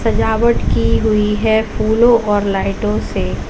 सजावट की हुई है फूलों और लाइटों से।